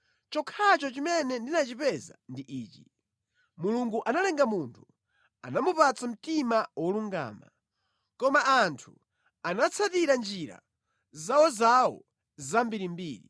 Chokhacho chimene ndinachipeza ndi ichi: Mulungu analenga munthu, anamupatsa mtima wolungama, koma anthu anatsatira njira zawozawo zambirimbiri.”